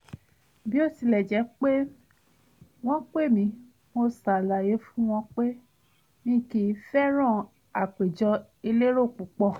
bó tilẹ̀ jẹ́ pé wọ́n pè mí mo ṣàlàyé fún wọn pé mi kìí fẹ́ràn àpèjọ elérò púpọ̀